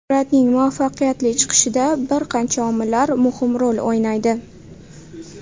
Suratning muvaffaqiyatli chiqishida bir qancha omillar muhim rol o‘ynaydi.